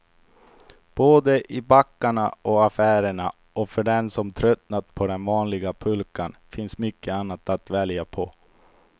Både i backarna och affärerna, och för den som tröttnat på den vanliga pulkan finns mycket annat att välja på.